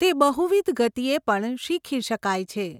તે બહુવિધ ગતિએ પણ શીખી શકાય છે.